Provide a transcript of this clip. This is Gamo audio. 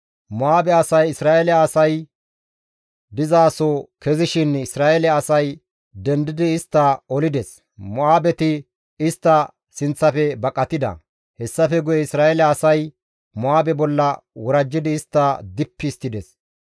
Mo7aabe asay Isra7eele asay dizaso kezishin Isra7eele asay dendidi istta olides; Mo7aabeti istta sinththafe baqatida; hessafe guye Isra7eele asay Mo7aabe bolla worajjidi istta dippi histtides.